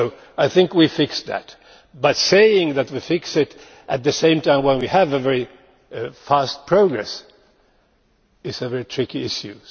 I think we fixed that, but saying that we have fixed it at the same time as we have very fast progress it is a very tricky issue.